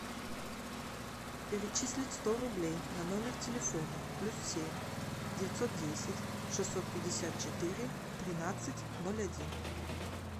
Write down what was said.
перечислить сто рублей на номер телефона плюс семь девятьсот десять шестьсот пятьдесят четыре тринадцать ноль один